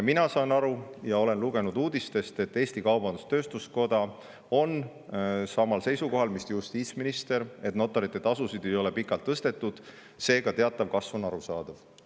Mina saan aru ja olen lugenud uudistest, et Eesti Kaubandus-Tööstuskoda on samal seisukohal mis justiitsminister, et notarite tasusid ei ole pikalt tõstetud, seega teatav kasv on arusaadav.